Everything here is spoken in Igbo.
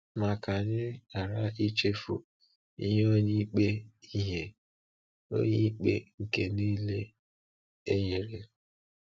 Ma ka anyị ghara ichefu ihe Onye Ikpe ihe Onye Ikpe nke niile e nyere.